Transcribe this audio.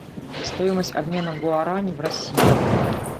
стоимость обмена гуарани в россии